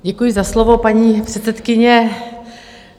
Děkuji za slovo, paní předsedkyně.